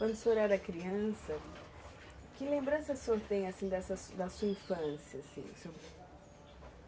Quando o senhor era criança, que lembrança o senhor tem, assim, dessa sua, da sua infância, assim? O